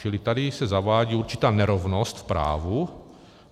Čili tady se zavádí určitá nerovnost v právu.